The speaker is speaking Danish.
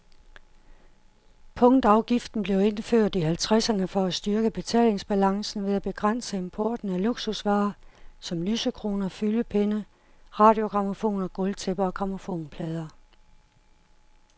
Punktafgiften blev indført i halvtredserne for at styrke betalingsbalancen ved at begrænse importen af luksusvarer som lysekroner, fyldepenne, radiogrammofoner, gulvtæpper og grammofonplader.